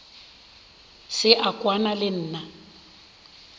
se a kwana le nna